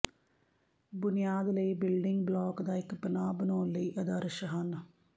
ਬੁਨਿਆਦ ਲਈ building block ਦਾ ਇੱਕ ਪਨਾਹ ਬਣਾਉਣ ਲਈ ਆਦਰਸ਼ ਹਨ